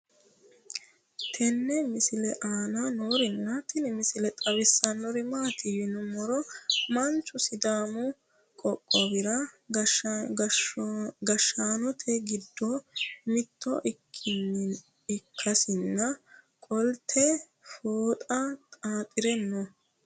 tenne misile aana noorina tini misile xawissannori maati yinummoro manchu sidaamu qoqqowira gashshannotte giddo mitto ikaasinni qolotte fooxxa xaaxxire noo